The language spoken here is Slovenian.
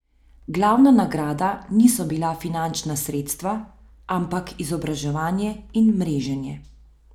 Glavna nagrada niso bila finančna sredstva, ampak izobraževanje in mreženje.